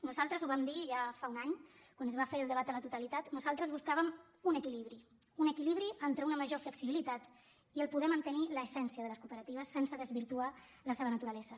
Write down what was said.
nosaltres ho vam dir ja fa un any quan es va fer el debat a la totalitat nosaltres buscàvem un equilibri un equilibri entre una major flexibilitat i poder mantenir l’essència de les cooperatives sense desvirtuar la seva naturalesa